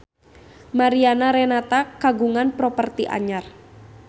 Mariana Renata kagungan properti anyar